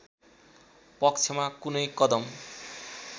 पक्षमा कुनै कदम